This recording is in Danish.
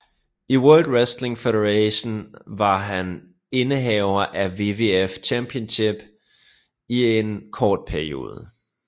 I World Wrestling Federation var han indehaver af WWF Championship i en kort periode